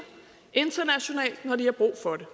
internationalt når de har brug for det